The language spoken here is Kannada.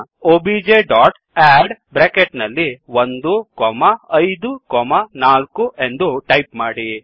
ಒಬಿಜೆ ಡಾಟ್ ಅಡ್ 154 ಎಂದು ಟೈಪ್ ಮಾಡಿ